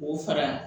K'o fara